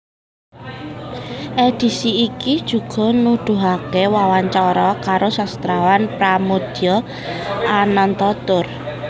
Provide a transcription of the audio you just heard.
Edisi iki juga nuduhake wawancara karo sastrawan Pramoedya Ananta Toer